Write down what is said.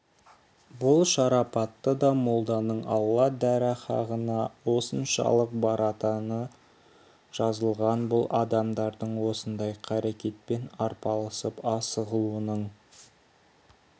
бұл шарапатты да молданың алла дәрғаһына осыншалық баратыны жазылған бұл адамдардың осындай қарекетпен арпалысып асығуының